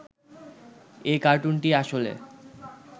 এ কার্টুনটি আসলে